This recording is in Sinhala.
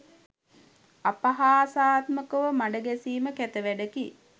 අපහාසාත්මක මඩ ගැසීම කැත වැඩකි